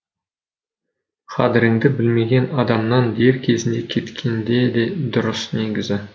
қадіріңді білмеген адамнан дер кезінде кеткенде де дұрыс негізі